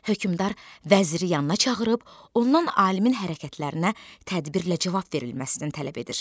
Hökmdar vəziri yanına çağırıb ondan alimin hərəkətlərinə tədbirlə cavab verilməsini tələb edir.